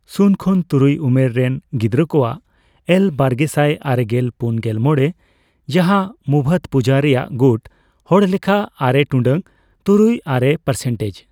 ᱥᱩᱱ ᱠᱷᱚᱱ ᱛᱩᱨᱩᱭ ᱩᱢᱮᱨ ᱨᱮᱱ ᱜᱤᱫᱽᱨᱟᱹ ᱠᱚᱣᱟᱜ ᱮᱞ ᱵᱟᱨᱜᱮᱥᱟᱭ ᱟᱨᱮᱥᱟᱭ ᱯᱩᱱᱜᱮᱞ ᱢᱚᱲᱮ , ᱡᱟᱦᱟ ᱢᱩᱵᱷᱟᱛᱯᱩᱡᱟᱹ ᱨᱮᱭᱟᱜ ᱜᱩᱴ ᱦᱚᱲᱞᱮᱠᱷᱟ ᱟᱨᱮ ᱴᱩᱰᱟᱹᱜ ᱛᱩᱨᱩᱭ ᱟᱨᱮ ᱯᱟᱨᱥᱮᱱᱴᱮᱡᱽ ᱾